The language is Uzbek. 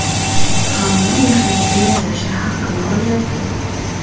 Hamma mehnatiga yarasha haqqini olyapti.